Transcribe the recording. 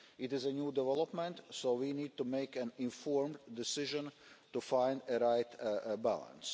It is a new development, so we need to make an informed decision to find a right balance.